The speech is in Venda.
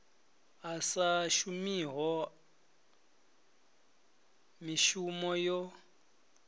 a sa shumiho mishumo yo